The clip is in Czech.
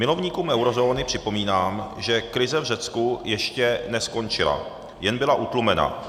Milovníkům eurozóny připomínám, že krize v Řecku ještě neskončila, jen byla utlumena.